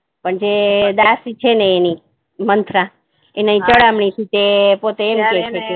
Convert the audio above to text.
પણ જે દાસી છે ને એની મંત્રા એને પોતે એમ કહે છે